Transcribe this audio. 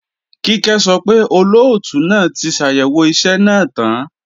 Kíkẹ́ sọ pé, Olóòtú náà ti ṣàyẹ̀wò iṣẹ́ náà tán